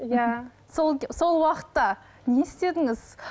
иә сол сол уақытта не істедіңіз